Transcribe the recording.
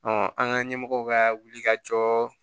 an ka ɲɛmɔgɔw ka wuli ka jɔ